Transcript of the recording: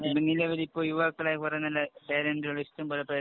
ഇപ്പൊ യുവാക്കളെ കൊറേ നല്ല പേരന്‍റ് ഉണ്ട്. ഇഷ്ടം പോലെ പേരന്‍റ്